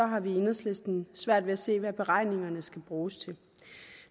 har vi i enhedslisten svært ved at se hvad beregningerne skal bruges til